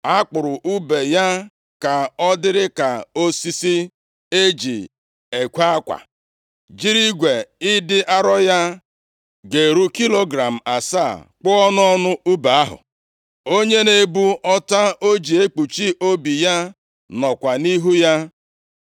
A kpụrụ ùbe ya ka ọ dịrị ka osisi e ji ekwe akwa, jiri igwe ịdị arọ ya ga-eru kilogram asaa kpụọ ọnụ ọnụ ùbe ahụ. Onye na-ebu ọta o ji ekpuchi obi ya nọkwa nʼihu ya.